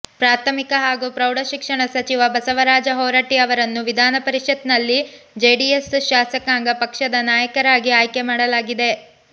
ಪ್ರಾಥಮಿಕ ಹಾಗೂ ಪ್ರೌಢ ಶಿಕ್ಷಣ ಸಚಿವ ಬಸವರಾಜ ಹೊರಟ್ಟಿ ಅವರನ್ನು ವಿಧಾನಪರಿಷತ್ನಲ್ಲಿ ಜೆಡಿಎಸ್ ಶಾಸಕಾಂಗ ಪಕ್ಷದ ನಾಯಕರಾಗಿ ಆಯ್ಕೆ ಮಾಡಲಾಗಿದೆ